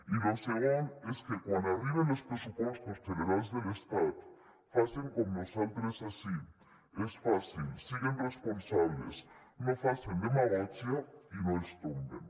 i lo segon és que quan arriben els pressupostos generals de l’estat facen com nosaltres ací és fàcil siguen responsables no facen demagògia i no els tomben